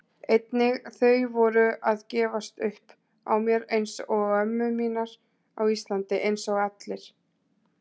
Einnig þau voru að gefast upp á mér einsog ömmur mínar á Íslandi, einsog allir.